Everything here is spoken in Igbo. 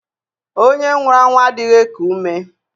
Ònye nwụrụ anwụ adịghị eku ume.